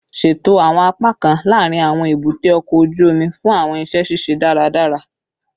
Ṣeto awọn apakan laarin awọn ebute oko oju omi fun awọn iṣẹ ṣiṣe daradara